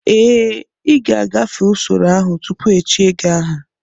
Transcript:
Ee, ị ga-agafe usoro ahụ tupu echie gị aha